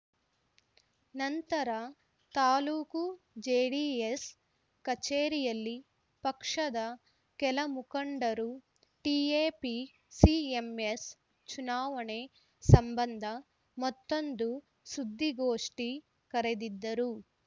ನಂತರ ತಾಲೂಕು ಜೆಡಿಎಸ್‌ ಕಚೇರಿಯಲ್ಲಿ ಪಕ್ಷದ ಕೆಲ ಮುಖಂಡರು ಟಿಎಪಿಸಿಎಂಎಸ್‌ ಚುನಾವಣೆ ಸಂಬಂಧ ಮತ್ತೊಂದು ಸುದ್ದಿಗೋಷ್ಠಿ ಕರೆದಿದ್ದರು